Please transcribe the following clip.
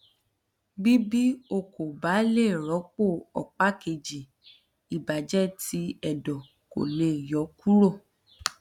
bi bi o ko ba le rọpo ọpa keji ibajẹ ti ẹdọ ko le yọ kuro